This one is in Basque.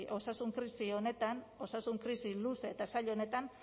osasun krisi honetan osasun krisi luze eta zail honetan